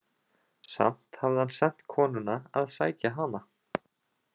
Samt hafði hann sent konuna að sækja hana?